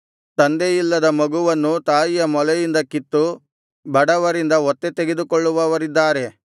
ತಂದೆಯಿಲ್ಲದ ಮಗುವನ್ನು ತಾಯಿಯ ಮೊಲೆಯಿಂದ ಕಿತ್ತು ಬಡವರಿಂದ ಒತ್ತೆ ತೆಗೆದುಕೊಳ್ಳುವವರಿದ್ದಾರೆ